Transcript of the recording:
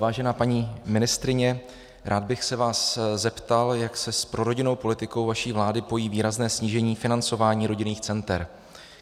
Vážená paní ministryně, rád bych se vás zeptal, jak se s prorodinnou politikou vaší vlády pojí výrazné snížení financování rodinných center.